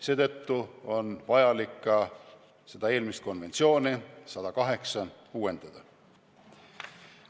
Seetõttu on vaja ka seda nn konventsiooni 108 uuendada.